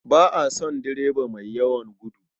Ba na son direba mai yawan gudu.